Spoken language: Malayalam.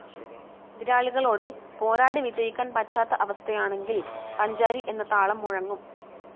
എതിരാളികളോട് പോരാടി വിജയിക്കാൻ പറ്റാത്ത അവസ്ഥയാണെങ്കിൽ പഞ്ചാരി എന്ന താളം മുഴങ്ങും.